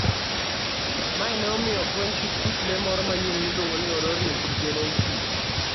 Mae ne omiyo ofweny kit kit le moro manyien miluongo ni Orrorin tugenensis.